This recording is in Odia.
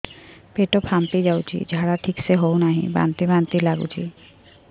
ପେଟ ଫାମ୍ପି ଯାଉଛି ଝାଡା ଠିକ ସେ ହଉନାହିଁ ବାନ୍ତି ବାନ୍ତି ଲଗୁଛି